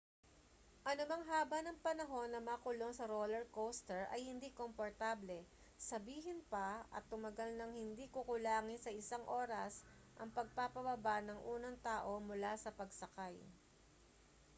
anumang haba ng panahon na makulong sa roller coaster ay hindi komportable sabihin pa at tumagal nang hindi kukulangin sa isang oras ang pagpapababa ng unang tao mula sa pagsakay